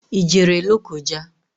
I jere Lokoja?